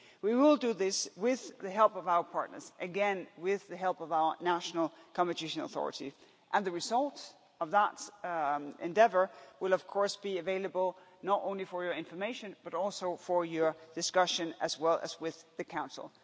We will do this with the help of our partners, again with the help of our national authority, and the result of that endeavour will of course be available not only for your information, but also for your discussion as well as with the Council.